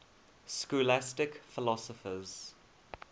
scholastic philosophers